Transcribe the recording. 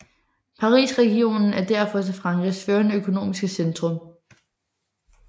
Parisregionen er derfor også Frankrigs førende økonomiske centrum